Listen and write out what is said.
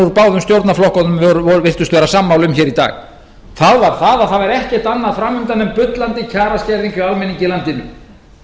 úr báðum stjórnarflokkunum virtust vera sammála um hér í dag það var það að ekkert væri fram undan nema bullandi kjaraskerðing hjá almenningi í landinu